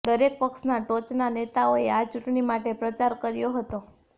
દરેક પક્ષના ટોચના નેતાઓએ આ ચૂંટણી માટે પ્રચાર કર્યો હતો